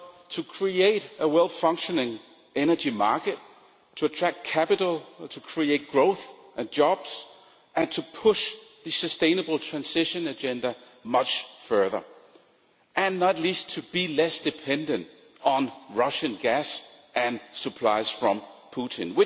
To create a well-functioning energy market, to attract capital, to create growth and jobs, to push the sustainable transition agenda much further and, not least, to be less dependent on Russian gas and supplies from Mr Putin.